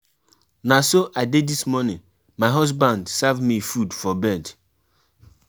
Carry medicine and oda important things if um you no well